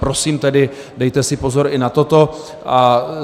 Prosím tedy dejte si pozor i na toto.